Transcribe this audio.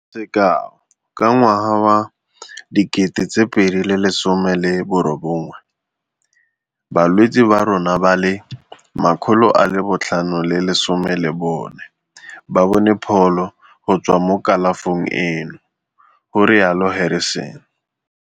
"Sekao, ka ngwaga wa 2018, balwetse ba rona ba le 514 ba bone pholo go tswa mo kalafong eno," go rialo Harrison.